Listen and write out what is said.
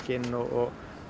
inn og